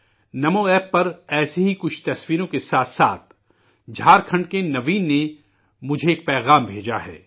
نمو app پر ایسی ہی کچھ تصویروں کے ساتھ ساتھ جھارکھنڈ کے نوین نے مجھے ایک پیغام بھیجا ہے